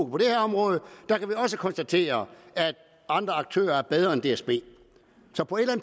på det her område der kan vi også konstatere at andre aktører er bedre end dsb så på et